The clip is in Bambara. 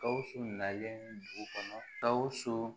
Gawusu nalen dugu kɔnɔ gawusu